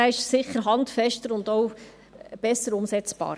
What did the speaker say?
Dieser ist handfester und auch besser umsetzbar.